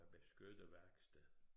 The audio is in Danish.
Beskytte værksted